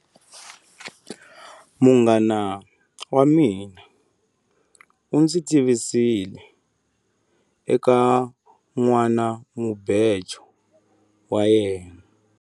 Munghana wa mina u ndzi tivisile eka nhwanamubejo wa yena.